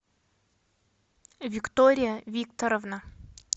виктория викторовна